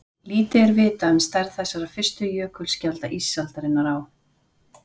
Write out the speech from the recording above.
Lítið er vitað um stærð þessara fyrstu jökulskjalda ísaldarinnar á